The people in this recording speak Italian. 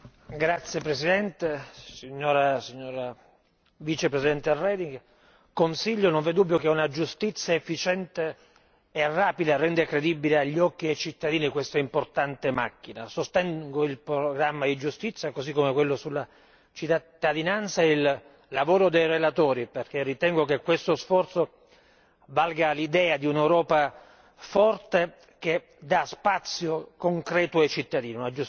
Signor Presidente, onorevoli colleghi, Commissario Reding, non v'è dubbio che una giustizia efficiente e rapida rende credibile agli occhi dei cittadini quest'importante macchina. Sostengo il programma di giustizia, così come quello sulla cittadinanza e il lavoro dei relatori, perché ritengo che questo sforzo valga l'idea di un'Europa forte che dà spazio concreto ai cittadini.